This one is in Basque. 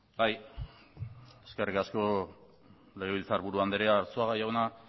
bai eskerrik asko legebiltzarburu andrea arzuaga jauna